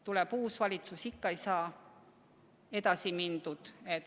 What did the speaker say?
Tuleb uus valitsus, ikka ei saa edasi mindud.